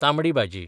तांबडी भाजी